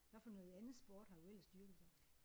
Hvad for noget andet sport har du ellers dyrket så?